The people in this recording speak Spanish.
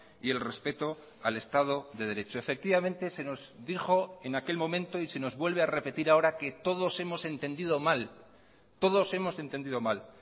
y el respeto al estado de derecho efectivamente se nos dijo en aquel momento y se nos vuelve a repetir ahora que todos hemos entendido mal todos hemosentendido mal